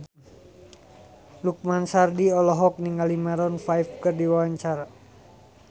Lukman Sardi olohok ningali Maroon 5 keur diwawancara